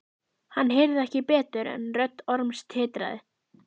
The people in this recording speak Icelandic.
Hann heyrði ekki betur en rödd Orms titraði.